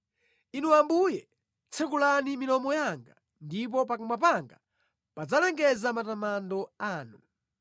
Inu Ambuye tsekulani milomo yanga, ndipo pakamwa panga padzalengeza matamando anu.